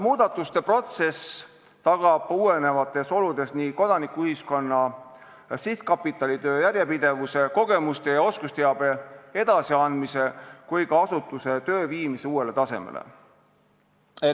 Muudatuste protsess tagab uuenevates oludes nii Kodanikuühiskonna Sihtkapitali töö järjepidevuse, kogemuste ja oskusteabe edasiandmise kui ka asutuse töö viimise uuele tasemele.